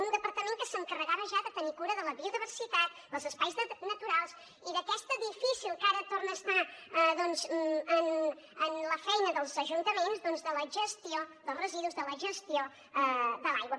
un departament que s’encarregava ja de tenir cura de la biodiversitat dels espais naturals i d’aquesta difícil que ara torna a estar en la feina dels ajuntaments gestió dels residus gestió de l’aigua